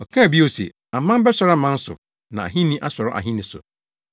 Ɔkaa bio se, “Aman bɛsɔre aman so na ahenni asɔre ahenni so.